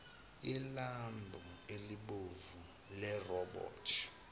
ilambhu elibomvu lerobothi